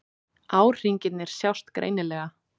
Árhringirnir sjást greinilega.